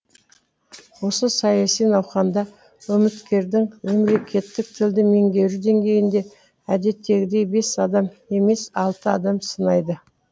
осы саяси науқанда үміткердің мемлекеттік тілді меңгеру деңгейін де әдеттегідей бес адам емес алты адам сынайды